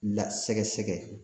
Lasɛgɛsɛgɛ